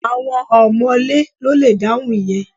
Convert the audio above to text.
Àwọn ọ̀mọ̀lé ló le dáhùn ìyẹn